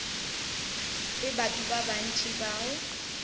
le batho ba bantši bao